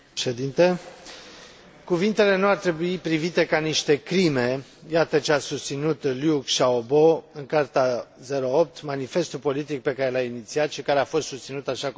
Cuvintele nu ar trebui privite ca niște crime, iată ce a susținut Liu Xiaobo în Carta 08, manifestul politic pe care l a inițiat și care a fost susținut, așa cum s a spus, de mii de chinezi.